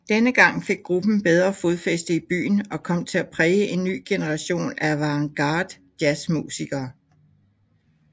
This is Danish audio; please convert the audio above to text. Denne gang fik gruppen bedre fodfæste i byen og kom til at præge en ny generation af avantgardejazzmusikere